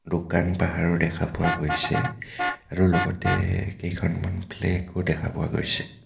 দুকান পাহৰো দেখা পোৱা গৈছে আৰু লগতে এ কেইখনমান ফ্লেগ ও দেখা পোৱা গৈছে.